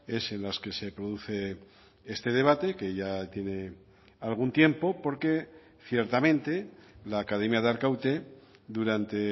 es en las que se produce este debate que ya tiene algún tiempo porque ciertamente la academia de arkaute durante